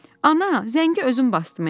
"Ana, zəngi özüm basdıme?